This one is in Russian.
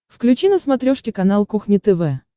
включи на смотрешке канал кухня тв